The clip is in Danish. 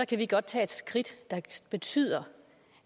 kan vi godt tage et skridt der betyder